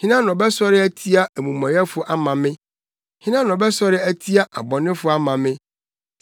Hena na ɔbɛsɔre atia amumɔyɛfo ama me? Hena na ɔbɛsɔre atia abɔnefo ama me?